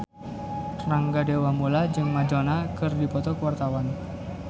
Rangga Dewamoela jeung Madonna keur dipoto ku wartawan